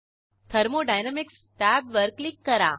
thermodynamics टॅबवर click करा